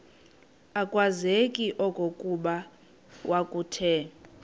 akwazeki okokuba kwakuthe